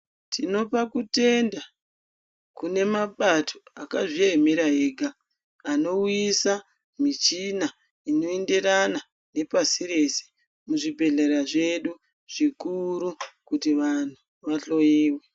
Tinopa kutenda kune mapato akazvi emera ega ano uyisa michina ino enderana ne pasi rese mu zvibhedhlera zvedu zvikuru kuti vanhu va hloyiwe.